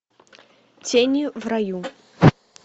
тени в раю